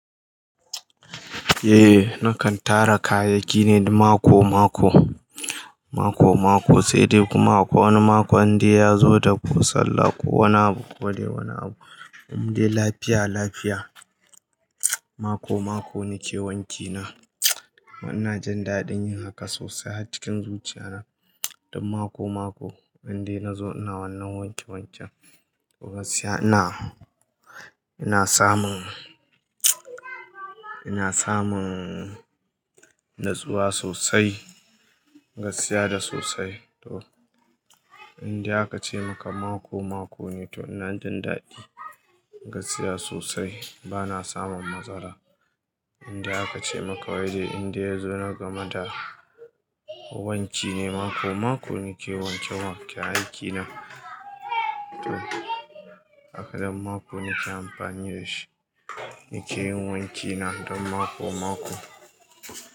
Eh nakan tara kayayyaki ne mako mako, mako mako sai dai kuma ko wani mako indai ya zo da ko sallah ko wani abu ko dai wani abu. Um dai lafiya lafiya, mako mako nike wanki na. Kuma ina jin daɗin yin haka sosai har cikin zuciya na. Don mako mako inda na zo ina wannan wanke wanken. Gaskiya ina, ina samun, ina samun natsuwa sosai, gaskiya da sosai. To indai aka ce maka mako mako ne to ina jin daɗi. Gaskiya sosai bana samun matsala. Inda aka ce maka wai zai inda ya zo na game da wanki ne mako mako nike wanke wanke aiki na. To zakagan mako nike amfani da shi, nike yin wanki na don mako mako.